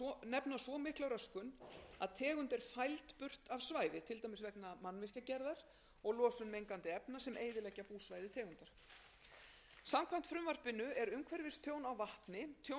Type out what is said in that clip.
nefna svo mikla röskun að tegund er fæld burt af svæði til dæmis vegna mannvirkjagerðar og losun mengandi efna sem eyðileggja búsvæði tegunda samkvæmt frumvarpinu er umhverfistjón á vatni tjón sem hefur veruleg skaðleg áhrif á umhverfi og gæði